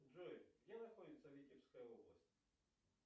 джой где находится витебская область